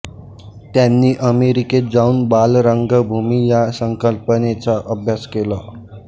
त्यांनी अमेरिकेत जाऊन बालरंगभूमी या संकल्पनेचा अभ्यास केला